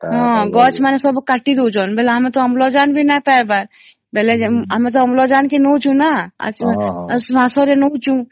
ହଁ ଗଛ ମାନେ ସବୁ କାଟି ଦଉଛନ ବୋଲେ ଆମେ ତ ଅମ୍ଳଜାନ ବି ନାଇ ପାଇବା ବେଳେ ଆମେ ତ ଅମ୍ଳଜାନ କେ ନେଉଛୁ ନ ଶ୍ୱାସ ରେ ନେଉଛୁ